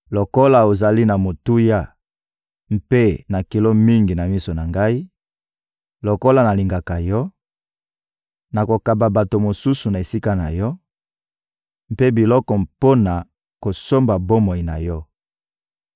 Lokola ozali na motuya mpe na kilo mingi na miso na Ngai, lokola nalingaka yo, nakokaba bato mosusu na esika na yo, mpe bikolo mpo na kosomba bomoi na yo.